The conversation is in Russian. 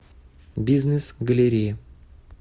бизнес галерея